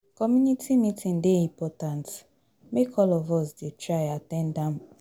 Community meeting dey important, make all of us dey try at ten d am.